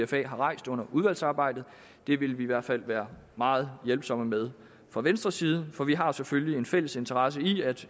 pfa har rejst under udvalgsarbejdet det vil vi i hvert fald være meget hjælpsomme med fra venstres side for vi har selvfølgelig en fælles interesse i at